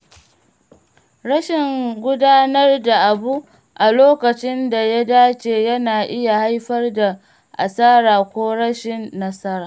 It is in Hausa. Rashin gudanar da abu a lokacin da ya dace yana iya haifar da asara ko rashin nasara.